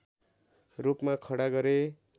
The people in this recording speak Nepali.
रूपमा खडा गरे